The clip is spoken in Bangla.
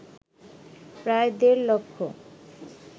প্রায় দেড় লক্ষ